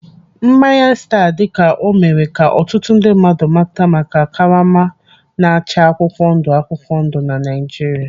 Mmanya staa dịka o mere ka ọtụtụ ndị mmadụ mata maka karama na-acha akwụkwọ ndụ akwụkwọ ndụ na Naijiria.